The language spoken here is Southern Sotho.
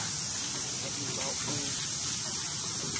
ya e ba ba ho